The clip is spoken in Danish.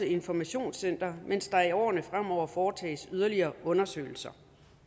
informationscenter mens der i årene fremover foretages yderligere undersøgelser